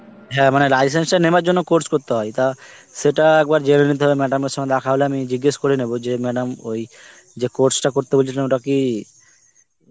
হ্যাঁ মানে license টা নেওয়ার জন্য course করতে হয় তা সেটা একবার জেনে নিতে হবে madam এর সথে দেখা হলে আমি জিগ্গেস করে নব যে madam ওই , যে course টা করতে বলছিলাম ওটা কি